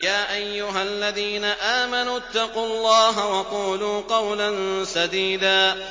يَا أَيُّهَا الَّذِينَ آمَنُوا اتَّقُوا اللَّهَ وَقُولُوا قَوْلًا سَدِيدًا